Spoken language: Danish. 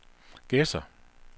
Gedser